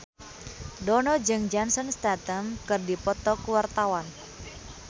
Dono jeung Jason Statham keur dipoto ku wartawan